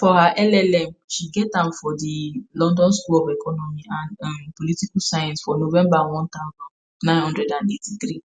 for her ll.m she get am from di london school of economic and um political science for november 1983.